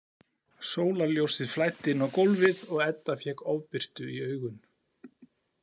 Sólarljósið flæddi inn á gólfið og Edda fékk ofbirtu í augun.